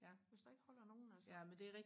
hvis der ikke holder nogen altså